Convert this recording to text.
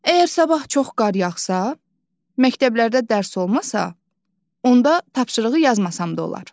Əgər sabah çox qar yağsa, məktəblərdə dərs olmasa, onda tapşırığı yazmasam da olar.